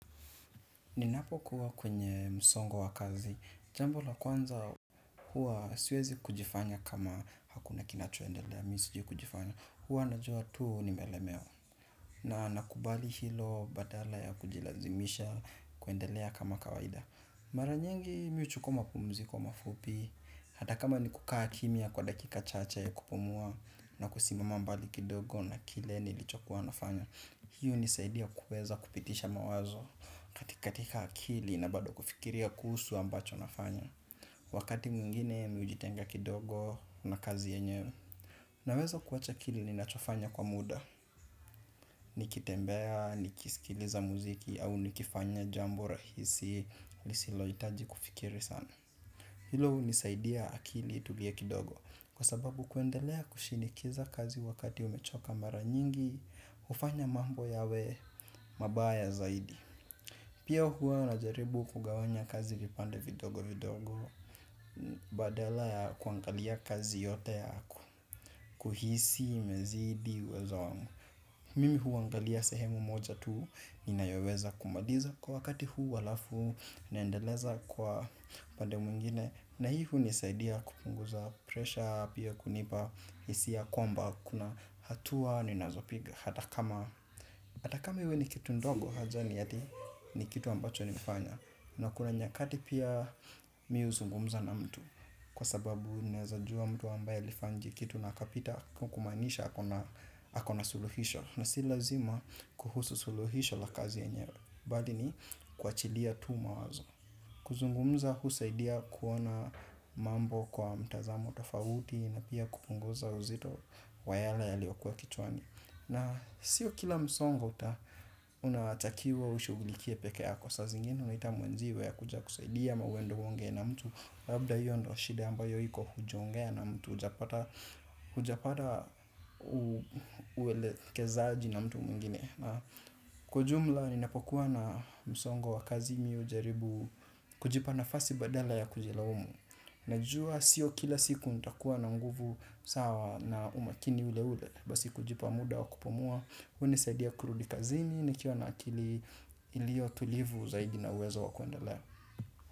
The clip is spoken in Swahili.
Ninapokuwa kwenye msongo wa kazi, jambo la kwanza huwa siwezi kujifanya kama hakuna kinachoendelea, mimi sijui kujifanya, huwa najua tu nimelemewa. Na nakubali hilo badala ya kujilazimisha kuendelea kama kawaida. Mara nyingi mi huchukua mapumziko mafupi, hata kama ni kukaa kimya kwa dakika chache ya kupumua na kusimama mbali kidogo na kile nilichokuwa nafanya, hiyo hunisaidia kuweza kupitisha mawazo. Katika akili na bado kufikiria kuhusu ambacho nafanya. Wakati mwingine mimi hujitenga kidogo na kazi yenyewe. Naweza kuacha kile ninachofanya kwa muda. Nikitembea, nikisikiliza muziki au nikifanya jambo rahisi lisilohitaji kufikiri sana. Hilo hunisaidia akili itulie kidogo. Kwa sababu kuendelea kushinikiza kazi wakati umechoka mara nyingi hufanya mambo yawe mabaya zaidi. Pia hua najaribu kugawanya kazi vipande vidogo vidogo. Badala ya kuangalia kazi yote yako kuhisi imezidi uwezo wangu. Mimi huangalia sehemu moja tu. Ninayoweza kumaliza. Kwa wakati huu alafu naendeleza kwa upande mwingine. Na hii hunisaidia kupunguza pressure. Pia kunipa hisia kwamba kuna hatua, ninazopiga, hata kama hata kama iwe ni kitu ndogo unajua ni ati ni kitu ambacho nmeifanya. Na kuna nyakati pia mimi huzungumza na mtu. Kwa sababu naweza jua mtu ambaye alifanya hiki kitu na akapita kumaanisha ako na suluhisho. Na si lazima kuhusu suluhisho la kazi yenye bali ni kuachilia tu mawazo. Kuzungumza husaidia kuona mambo kwa mtazamo tofauti. Na pia kupunguza uzito wa yale yaliyokua kichwani na sio kila msongo uta unatakiwa ushughulikie pekee yako saa zingine unaita mwenzio akuje akusaidie ama uende uongee na mtu. Labda hiyo ndo shida ambayo iko hujongea na mtu hujapata uelekezaji na mtu mwingine. Kwa ujumla ninapokuwa na msongo wa kazi mi hujaribu kujipa nafasi badala ya kujilaumu. Najua sio kila siku nitakuwa na nguvu sawa na umakini ule ule. Basi kujipa muda wa kupumua hunisaidia kurudi kazini nikiwa na akili ilio tulivu zaidi na uwezo wa kuendelea.